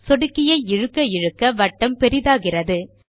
சொடுக்கியை இழுக்க இழுக்க வட்டம் பெரியதாகிறது